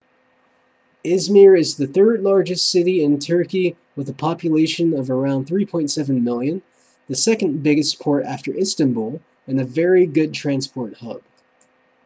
i̇zmir is the third largest city in turkey with a population of around 3.7 million the second biggest port after istanbul and a very good transport hub